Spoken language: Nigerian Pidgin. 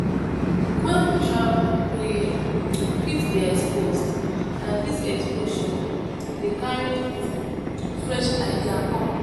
When we travel we um fit dey exposed and this exposure um dey carry um fresh idea come